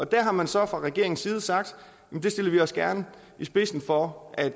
der har man så fra regeringens side sagt at det stiller vi os gerne i spidsen for at